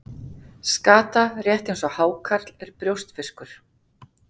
Skata, rétt eins og hákarl, er brjóskfiskur.